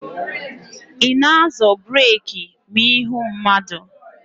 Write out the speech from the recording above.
Ị na-azọ breeki ma ị hụ mmadụ?